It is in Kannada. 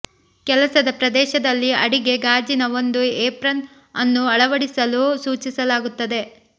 ಕೆಲಸದ ಪ್ರದೇಶದಲ್ಲಿ ಅಡಿಗೆ ಗಾಜಿನ ಒಂದು ಏಪ್ರನ್ ಅನ್ನು ಅಳವಡಿಸಲು ಸೂಚಿಸಲಾಗುತ್ತದೆ